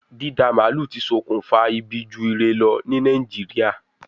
Dída màálù ti sokùnfa ibi ju ire lọ ní Nàìjíríà